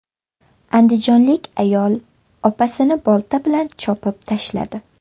Andijonlik ayol opasini bolta bilan chopib tashladi.